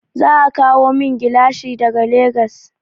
Za a kawo min gilashi daga Legas.